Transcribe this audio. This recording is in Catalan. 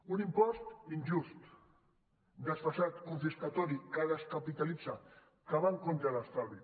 un impost injust desfasat confiscador que descapitalitza que va en contra de l’estalvi